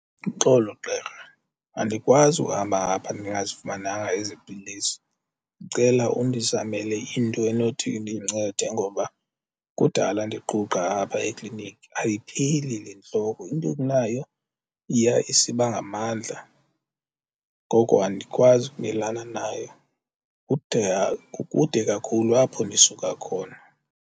Uxolo gqirha andikwazi uhamba apha ndingazifumananga ezi pilisi, ndicela undizamele into enothi indincede ngoba kudala ndiquqa apha ekliniki. Ayipheli le ntloko into okunayo iya isiba ngamandla ngoko andikwazi ukumelana nayo kude kukude kakhulu apho ndisuka khona.